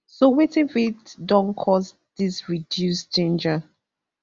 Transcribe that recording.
so wetin fit don cause dis reduced ginger